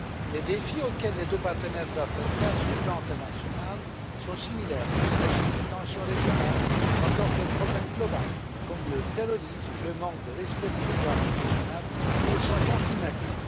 Les défis auxquels les deux partenaires doivent faire face sur le plan international sont similaires, qu'il s'agisse des tensions régionales ou encore des problèmes globaux comme le terrorisme, le manque de respect pour le droit international, ou le changement climatique.